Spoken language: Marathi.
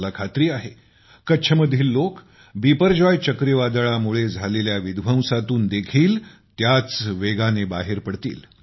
मला खात्री आहे कच्छमधील लोक बिपरजॉय चक्रीवादळामुळे झालेल्या विध्वंसातून देखील त्याच वेगाने बाहेर पडतील